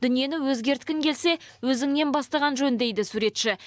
дүниені өзгерткің келсе өзіңнен бастаған жөн дейді суретші